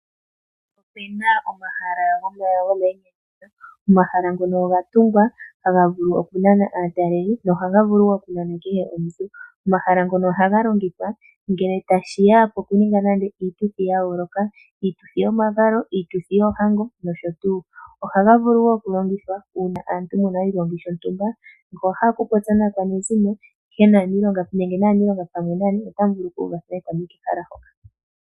Opuna omahala gamainyanyudho, omahala ngono oga tungwa taga vulu oku nana aataleli go ohaga vulu wo oku nana kehe omuntu. Omahala ngono ohaga longithwa ngele tashiya pokuninga iituthi ya yooloka, iituthi yomavalo, iituthi yoohango nosho tuu. Ohaga vulu wo oku longithwa kaantu ngele yena oshigongi shontumba ngele owahala oku popya naakwanezimo nenge aaniilonga pamwe nangoye otamu vulu okuuvathana etamu yi kehala hoka.